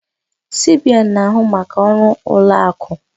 CBN na-ahụ maka ọrụ ụlọ akụ.